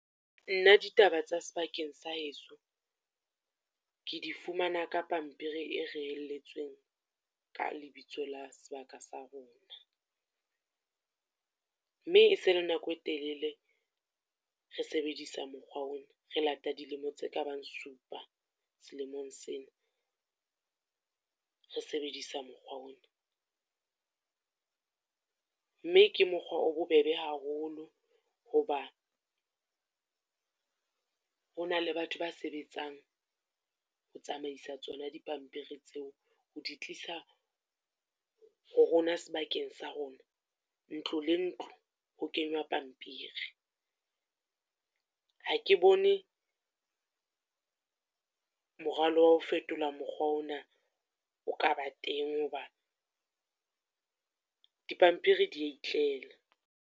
Nna ditaba tsa sebakeng sa heso, ke di fumana ka pampiri e reelletsweng ka lebitso la sebaka sa rona. Mme e se e le nako e telele re sebedisa mokgwa ona, re late dilemo tse ka bang supa, selemong sena re sebedisa mokgwa ona. Mme ke mokgwa o bobebe haholo ho ba, ho na le batho ba sebetsang ho tsamaisa tsona dipampiri tseo, ho di tlisa ho rona sebakeng sa rona. Ntlo le ntlo, ho kenywa pampiri, ha ke bone morwalo wa ho fetola mokgwa ona o ka ba teng hoba di ya pampiri di itlela.